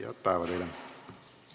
Head päeva teile!